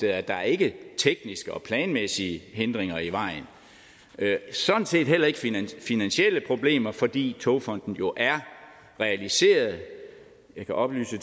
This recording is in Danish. at der ikke er tekniske og planmæssige hindringer sådan set heller ikke finansielle problemer fordi togfonden dk jo er realiseret jeg kan oplyse